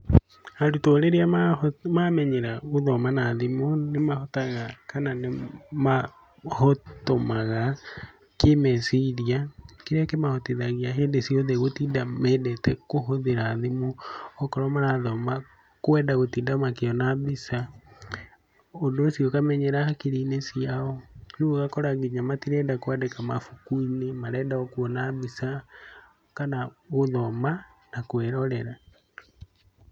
Arutwo rĩrĩa mamenyera gũthoma na thimũ nĩmahotaga kana nĩ mahotomaga kĩĩmeciria, kĩrĩa kĩmahotithagia hĩndĩ ciothe gũtinda mendete kũhũthĩra thimũ, okorwo marathoma kwenda gũtinda makĩona mbica, ũndũ ũcio ũkamenyera hakiri-inĩ ciao, rĩu ũgakora nginya matirenda kũandĩka mabuku-inĩ, marenda o kuona mbica kana gũthoma na kũĩrorera.